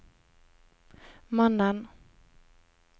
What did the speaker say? mannen